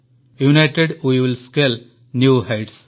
United we will scale new heights